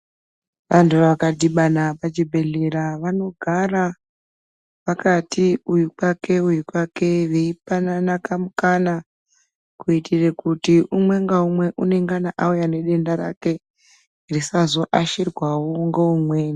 Vantu vakadibana pachibhedhlera vanogara vakati uyu kwake uyu kwake. Veipanana kamukana kuitire kuti umwe ngaumwe unengana auya nedenda rake risazo ashirwavo ngeumweni.